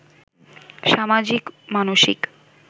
সামাজিক, মানসিক